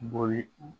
Boli